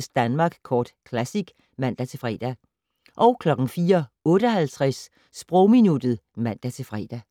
04:53: Danmark Kort Classic *(man-fre) 04:58: Sprogminuttet (man-fre)